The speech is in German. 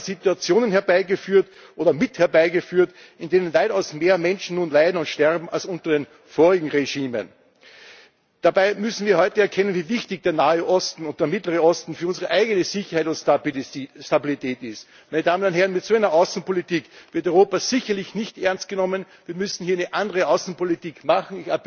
Wir haben Situationen herbeigeführt, oder mit herbeigeführt, in denen weitaus mehr Menschen nun leiden und sterben als unter den vorherigen Regimen. Dabei müssen wir heute erkennen, wie wichtig der Nahe Osten und der Mittlere Osten für unsere eigene Sicherheit und Stabilität sind. Meine Damen und Herren, mit einer solchen Außenpolitik wird Europa sicherlich nicht ernst genommen, wir müssen hier eine andere Außenpolitik machen.